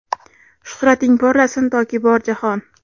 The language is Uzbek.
Shuhrating porlasin toki bor jahon!.